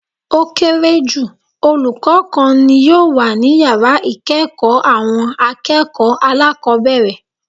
Ó kéré jù olùkó kan ni yòò wà ní yàrá ìkéèkó àwọn akéèkòó alákòbéèrè